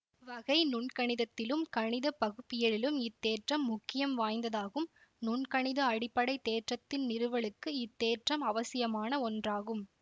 வகை நுண்கணித்திலும் கணித பகுப்பியலிலும் இத்தேற்றம் முக்கியம் வாய்ந்ததாகும் நுண்கணித அடிப்படை தேற்றத்தின் நிறுவலுக்கு இத்தேற்றம் அவசியமான ஒன்றாகும்